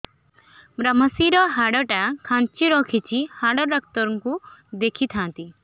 ଵ୍ରମଶିର ହାଡ଼ ଟା ଖାନ୍ଚି ରଖିଛି ହାଡ଼ ଡାକ୍ତର କୁ ଦେଖିଥାନ୍ତି